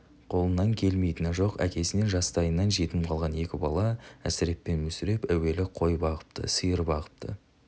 қолынан келмейтіні жоқ әкесінен жастайынан жетім қалған екі бала әсіреп пен мүсіреп әуелі қой бағыпты сиыр бағыпты